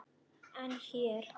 En hér?